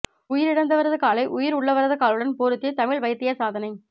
உயிரிழந்தவரது காலை உயிர் உள்ளவரது காலுடன் பொருத்தி தமிழ் வைத்தியர் சாதனை